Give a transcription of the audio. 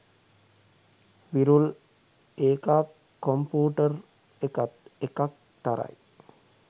"විරුල්" ඒකා කොම්පුටර් එකත් එකක් තරයි.